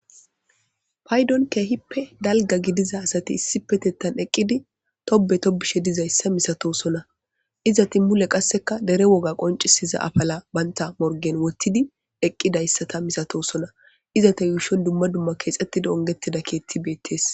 paydon keehippe dalga gidiza asati issipetettan eqqidi tobe tobishe dizayssa misato sona izati mule qasseka dere woga qoncisiza afala baynta morgen wottidi eqqidayssata misatosona izata yuushon dumma dumma keexettida ungettida keetti beettees